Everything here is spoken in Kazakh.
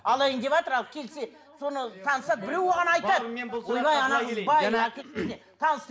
алайын деватыр ал келсе соны таныса біреуі ғана айтады